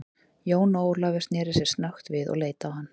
Jón Ólafur sneri sér snöggt við og leit á hann.